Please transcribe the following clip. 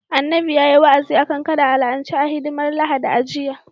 Annabi yayi wa'azi akan kada a la'ance a hidimar Lahadi a jiya